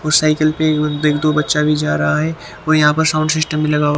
और साइकिल पे एक दो बच्चा भी जा रहा है और यहाँ पर साउंड सिस्टम लगा हुआ--